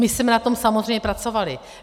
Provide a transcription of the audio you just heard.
My jsme na tom samozřejmě pracovali.